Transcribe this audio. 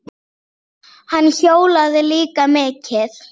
Hann hjólaði líka mikið.